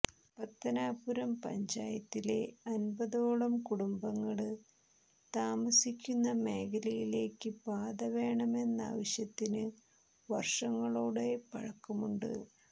പത്തനാപുരം പഞ്ചായത്തിലെ അന്പതോളം കുടുംബങ്ങള് താമസിക്കുന്ന മേഖലയിലേക്ക് പാത വേണമെന്നാവശ്യത്തിന് വര്ഷങ്ങളുടെ പഴക്കമുണ്ട്